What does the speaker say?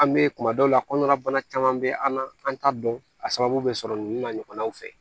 An bɛ kuma dɔw la kɔnɔna bana caman bɛ an na an t'a dɔn a sababu bɛ sɔrɔ nin na ɲɔgɔnnaw fɛ